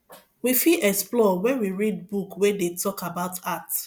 we fit explore when we read book wey dey talk about art